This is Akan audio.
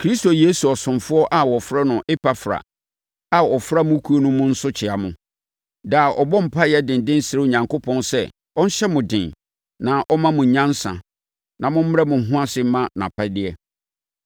Kristo Yesu ɔsomfoɔ a wɔfrɛ no Epafra a ɔfra mo kuo mu no nso kyea mo. Daa ɔbɔ mpaeɛ denden srɛ Onyankopɔn sɛ ɔnhyɛ mo den na ɔmma mo nyansa na mommrɛ mo ho ase mma nʼapɛdeɛ.